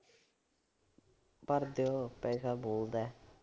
ਭਰ ਦਿਉ। ਪੈਸਾ ਬੋਲਦਾ।